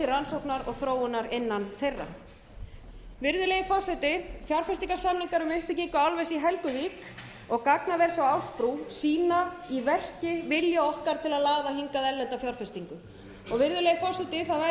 rannsóknar og þróunar innan þeirra virðulegi forseti fjárfestingarsamningar um uppbyggingu álvers í helguvík og gagnaver frá ásbrú sýna í verki vilja okkar til að laða annað erlenda fjárfestingu virðulegi forseti það væri ekki úr vegi að ég sendi